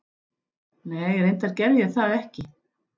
Nei reyndar gerði ég það ekki.